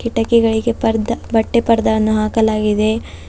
ಟೆಕೆಗಳಿಗೆ ಪರ್ದ ಬಟ್ಟೆ ಪರ್ದ ಅನ್ನು ಹಾಕಲಾಗಿದೆ.